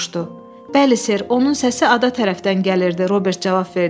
Bəli, ser, onun səsi ada tərəfdən gəlirdi, Robert cavab verdi.